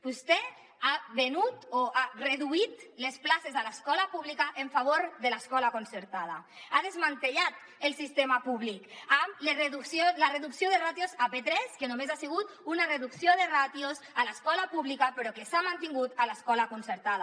vostè ha venut o ha reduït les places a l’escola pública en favor de l’escola concertada ha desmantellat el sistema públic amb la reducció de ràtios a p3 que només ha sigut una reducció de ràtios a l’escola pública però que s’ha mantingut a l’escola concertada